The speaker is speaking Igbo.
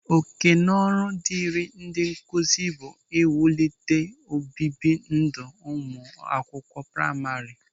Òkènaọrụ dịrị ndị nkụzi bụ iwulite obibi ndụ ụmụ akwụkwọ praima.